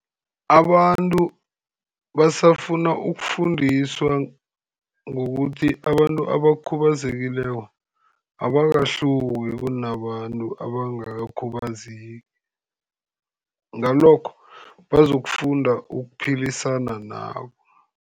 Abantu basafuna ukufundiswa ngokuthi abantu abakhubazekileko abahluki kunabantu abangakakhubazeki. Ngalokho, bazokufunda ukuphilisana nabo.